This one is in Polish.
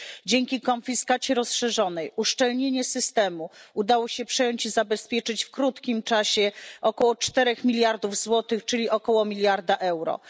Dzięki konfiskacie rozszerzonej i uszczelnieniu systemu udało się przejąć i zabezpieczyć w krótkim czasie około 4 miliardów złotych, czyli około miliarda euro.